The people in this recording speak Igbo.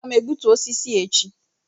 Aga m egbutu osisi a echi